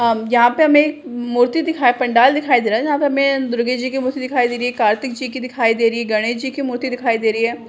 अम यहाँ पे हमे मूर्ति दिखाई पंडाल दिखाई दे रहा है जहाँ पे हमे दुर्गे जी की मूर्ति दिखाई दे रही है कार्तिक जी की दिखाई दे रही है गणेश जी की मूर्ति दिखाई दे रही है।